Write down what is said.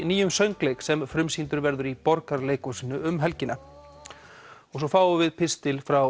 nýjum söngleik sem frumsýndur verður í Borgarleikhúsinu um helgina og svo fáum við pistil frá